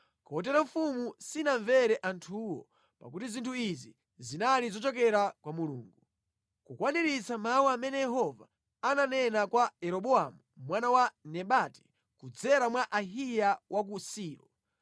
Kotero mfumu sinamvere anthuwo, pakuti zinthu izi zinali zochokera kwa Mulungu, kukwaniritsa mawu amene Yehova ananena kwa Yeroboamu mwana wa Nebati kudzera mwa Ahiya wa ku Silo.